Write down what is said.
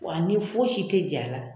Wa ani fosi tɛ jɛ a la.